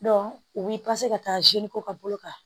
u b'i ka taa ka bolo kan